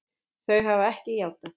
Þau hafa ekki játað.